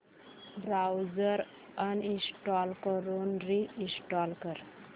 browser uninstall करून reinstall कर